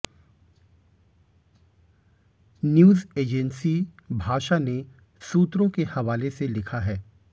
news agency Bhasha ने सूत्रों के हवाले से लिखा है